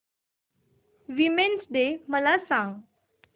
women's day मला सांग